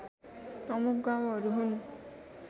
प्रमुख गाउँहरू हुन्